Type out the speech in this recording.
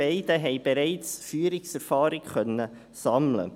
beide konnten also bereits Führungserfahrung sammeln.